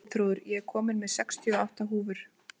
Arnþrúður, ég kom með sextíu og átta húfur!